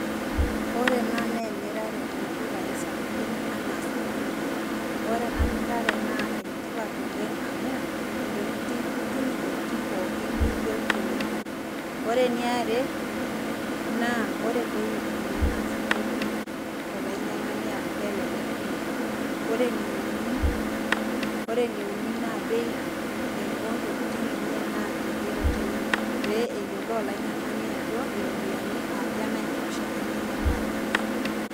Ore ena naa emirare oldukai sapukin anaa supermarket. Ore ena mirare naa enetipat oleng amu, intokiting itum intokiting pookin niyieu tenebo. Ore eniare, naa ore bei enye naa esidai pi tolainyang'ani amu kelelek pi. Ore eneuni, ore eneuni naa bei ontokiting' enye naa kigero teine. Pee eyiolou olainyang'ani ajo iropiyiani aja nai tosha enkinyang'are enye.